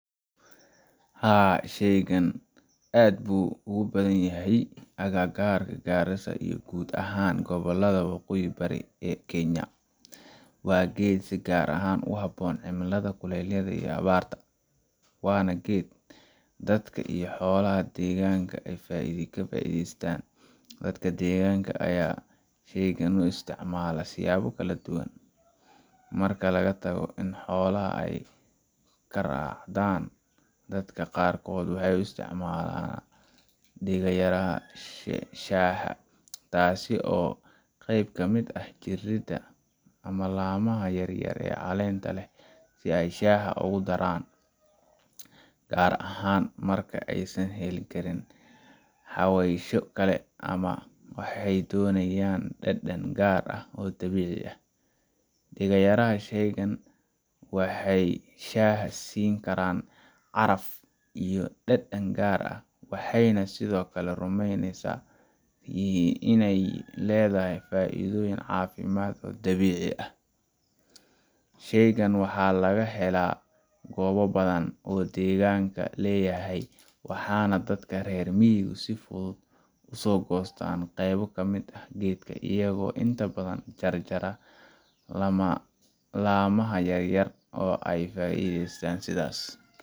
Haa, shaygan aad buu uga badan yahay aagga Garissa iyo guud ahaan gobollada Waqooyi Bari ee Kenya. Waa geed si gaar ah ugu habboon cimilada kulaylaha iyo abaarta, waana geed dadka iyo xoolaha deegaanka aad ka faa’iideystaan. Dadka deegaanka ayaa shagan u isticmaala siyaabo kala duwan. Marka laga tago in xoolaha ay ka raacdaan, dadka qaarkood waxay isticmaalaan dhega yaraha shaha taas oo ah qayb ka mid ah jirridda ama laamaha yaryar ee caleenta leh– si ay shaaha ugu daraan, gaar ahaan marka aysan heli karin xawaashyo kale ama ay doonayaan dhadhan gaar ah oo dabiici ah. Dhega yaraha shaygan waxay shaaha siin karaan caraf iyo dhadhan gaar ah, waxayna sidoo kale rumeynesa in ay leedahay faa’iido caafimaad oo dabiici ah. Shaygan waxaa laga helaa goobo badan oo deegaanku leeyahay, waxaana dadka reer miyigu si fudud u soo goostaan qaybo ka mid ah geedka, iyagoo inta badan jar jara laamaha yaryar oo ay uga faa’iideystaan sidaas.